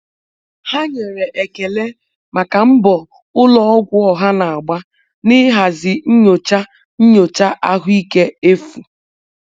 Ha nyere ekele maka mbọ ụlọ ọgwụ ọha na-agba n'ịhazi nyocha nyocha ahụike efu.